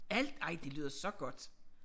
Al ej det lyder så godt